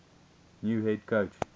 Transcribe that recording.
new head coach